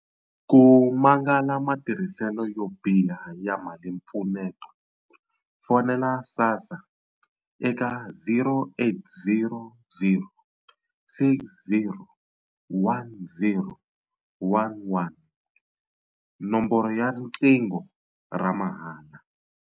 Ku mangala matirhiselo yo biha ya malimpfuneto, fonela SASSA eka 0800 60 10 11, nomboro ya riqingho ra mahala.